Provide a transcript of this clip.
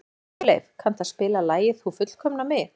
Sigurleif, kanntu að spila lagið „Þú fullkomnar mig“?